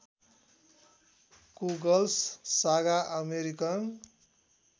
कुगल्स सागा अमेरिकन